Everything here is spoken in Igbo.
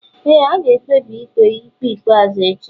ee, a ga-ekpebi ikpe ikpe ikpeazụ echi